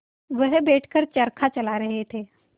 वह बैठ कर चरखा चला रहे थे